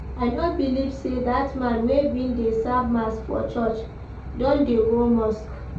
I no believe say dat man wey bin dey serve mass for church don dey go mosque